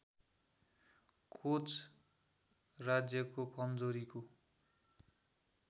coach राज्यको कमजोरीको